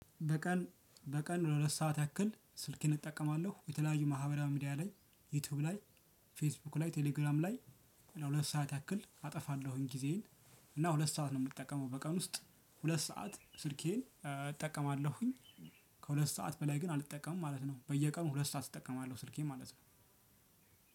በቀን በቀን ለሁለት ሰዓት ያክል ስልኬን እጠቀማለሁ። የተለያዩ ማህበራዊ ሚዲያ ላይ ዩቲዩብ ላይ፣ ፌስቡክ ላይ፣ ቴሌግራም ላይ ለሁለት ሰዓት ያክል አጠፋለሁኝ ጊዜዬን። እና ሁለት ሰዓት ነው የምትጠቀመው በቀን ውስጥ ሁለት ሰዓት ስልኬን እጠቀማለሁኝ። ከሁለት ሰዓት በላይ ግን አልጠቀምም ማለት ነው። በየቀኑ ሁለት ሰዓት እጠቀማለሁ ስልኬ ማለት ነው።